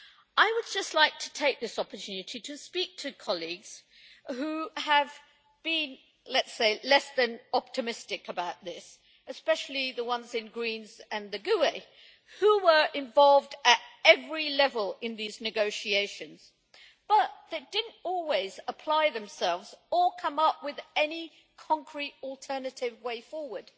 I would just like to take this opportunity to speak to colleagues who have been, let us say, less than optimistic about this, especially the ones in the Greens and GUE NGL who were involved at every level in these negotiations, but did not always apply themselves or come up with any concrete alternative way forward.